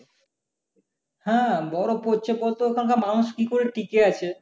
হ্যাঁ বরফ পড়ছে। বলতো ওখানকার মানুষ কি করে ঠিকে আছে?